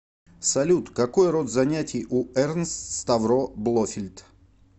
салют какой род занятий у эрнст ставро блофельд